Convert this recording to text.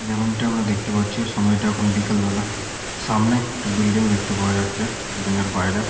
যেমনটি আমরা দেখতে পাচ্ছি সময়টি এখন বিকেল বেলা সামনে একটি বিল্ডিং দেখতে পাওয়া যাচ্ছে বিল্ডিং -এর বাইরে।